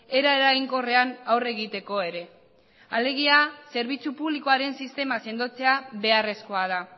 era eraginkorrean aurre egiteko ere alegia zerbitzu publikoaren sistema sendotzea beharrezkoa da